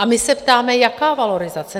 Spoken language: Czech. A my se ptáme: jaká valorizace?